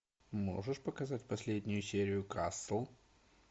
можешь показать последнюю серию касл